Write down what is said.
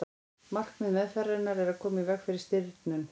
markmið meðferðarinnar er að koma í veg fyrir stirðnun